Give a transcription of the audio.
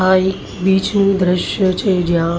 આ એક બ્રિજ દ્રશ્ય છે જ્યાં--